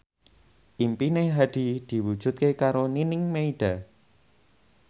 impine Hadi diwujudke karo Nining Meida